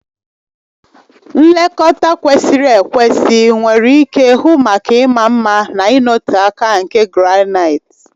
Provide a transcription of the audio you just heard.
Nlekọta kwesịrị ekwesị nwere ike hụ maka ịma mma na ịnọte aka nke granaịti.